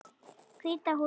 Hvíta húsið.